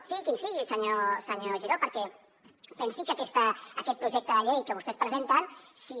sigui quin sigui senyor giró perquè pensi que aquest projecte de llei que vostès presenten si